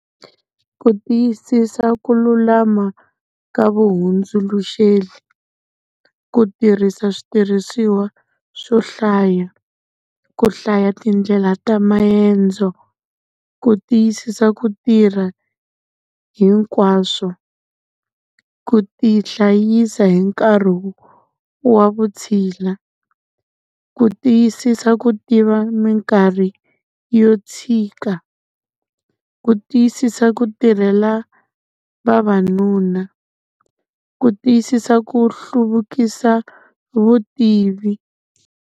Ku tiyisisa ku lulama ka vahundzuluxeri, ku tirhisa switirhisiwa swo hlaya, ku hlaya tindlela ta maendzo. Ku tiyisisa ku tirha hinkwaswo, ku tihlayisa hi nkarhi wa vutshila, ku tiyisisa ku tiva minkarhi yo tshika, ku tiyisisa ku tirhela vavanuna, ku tiyisisa ku hluvukisa vutivi.